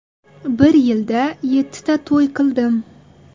Bir yilda yettita to‘y qildim.